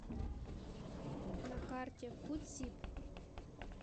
на карте фудсиб